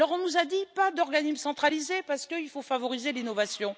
On nous a dit pas d'organisme centralisé, parce qu'il faut favoriser l'innovation.